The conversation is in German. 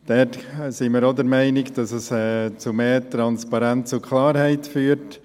Da sind wir auch der Meinung, dass es zu mehr Transparenz und Klarheit führt.